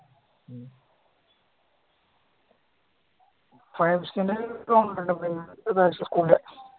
നിക്കൂല